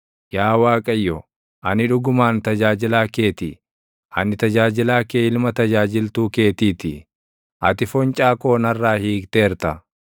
Yaa Waaqayyo, ani dhugumaan tajaajilaa kee ti; ani tajaajilaa kee ilma tajaajiltuu keetii ti; ati foncaa koo narraa hiikteerta.